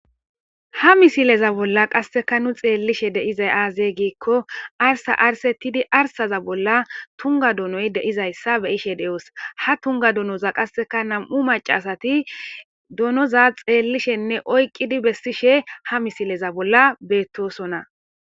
Ha misileza bolla qaseka nu xelishe duzay aze gikon arsa arisetid arsaza bolla tunga donoy de'iyayasa be'ishe , ha Tunga donoza qaseka nam'u macasat donoza xelishenne oykid besishe ha misilen betosona.